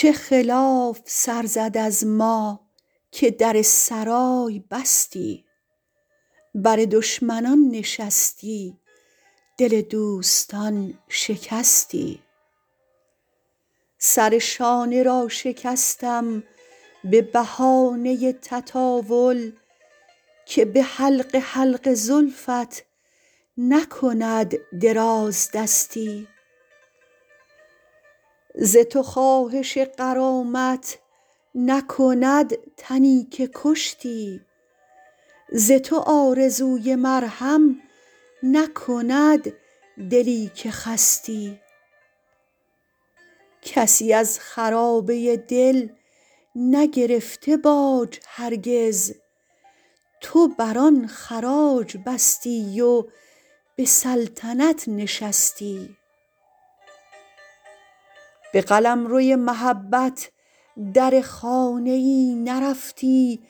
چه خلاف سر زد از ما که در سرای بستی بر دشمنان نشستی دل دوستان شکستی سر شانه را شکستم به بهانه تطاول که به حلقه حلقه زلفت نکند درازدستی ز تو خواهش غرامت نکند تنی که کشتی ز تو آرزوی مرهم نکند دلی که خستی کسی از خرابه دل نگرفته باج هرگز تو بر آن خراج بستی و به سلطنت نشستی به قلمروی محبت در خانه ای نرفتی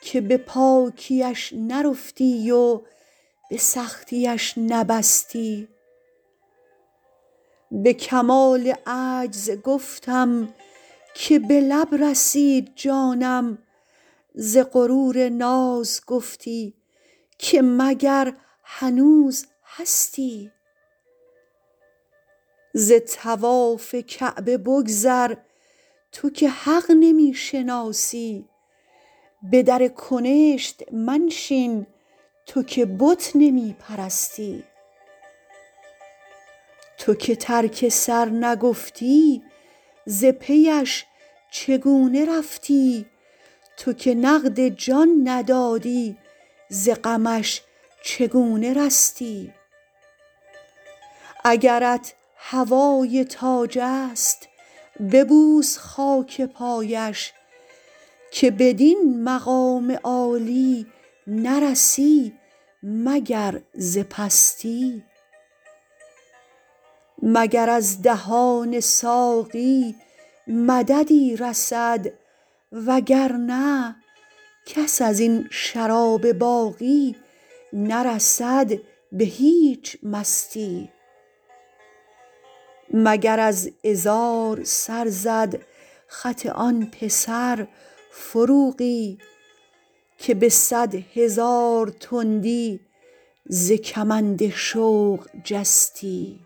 که به پاکی اش نرفتی و به سختی اش نبستی به کمال عجز گفتم که به لب رسید جانم ز غرور ناز گفتی که مگر هنوز هستی ز طواف کعبه بگذر تو که حق نمی شناسی به در کنشت منشین تو که بت نمی پرستی تو که ترک سر نگفتی ز پی اش چگونه رفتی تو که نقد جان ندادی ز غمش چگونه رستی اگرت هوای تاج است ببوس خاک پایش که بدین مقام عالی نرسی مگر ز پستی مگر از دهان ساقی مددی رسد وگرنه کس از این شراب باقی نرسد به هیچ مستی مگر از عذار سر زد خط آن پسر فروغی که به صد هزار تندی ز کمند شوق جستی